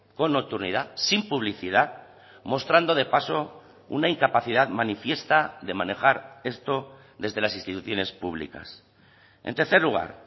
con nocturnidad sin publicidad mostrando de paso una incapacidad manifiesta de manejar esto desde las instituciones públicas en tercer lugar